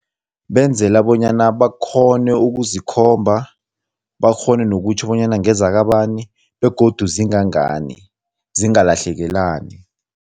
Benzela bonyana bakghone ukuzikhomba, bakghone nokutjho bonyana ngezakabani begodu zingangani, zingalahlekelani.